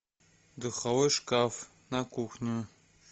духовой шкаф на кухню